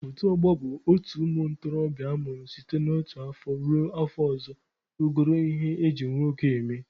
Otu ọgbọ bụ otu ụmụ ntorobịa amụrụ site n'otu afọ ruo afọ ọzọ rugoro ihe eji nwoke eme.